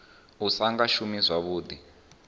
u sa nga shumi zwavhuḓi